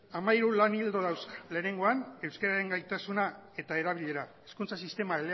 hamalau lan ildo dauzka lehenengoa euskararen gaitasuna eta erabilera hizkuntza sistema